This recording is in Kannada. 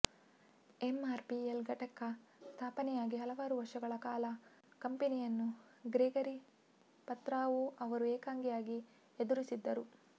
ಎಂಆರ್ಪಿಎಲ್ ಘಟಕ ಸ್ಥಾಪನೆಯಾಗಿ ಹಲವಾರು ವರ್ಷಗಳ ಕಾಲ ಕಂಪೆನಿಯನ್ನು ಗ್ರೆಗರಿ ಪತ್ರಾವೊ ಅವರು ಏಕಾಂಗಿಯಾಗಿ ಎದುರಿಸಿದ್ದರು